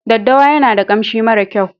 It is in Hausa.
Daddawa yana da kanshi mara kyau.